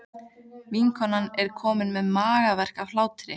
Vinkonan er komin með magaverk af hlátri.